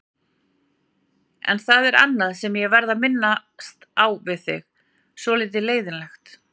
En það er annað sem ég verð að minnast á við þig, svolítið leiðinlegt.